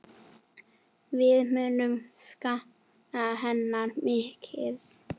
Við munum sakna hennar mikið.